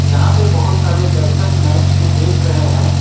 यहां पे बहुत सारे दर्शक मैच को देख रहे हैं।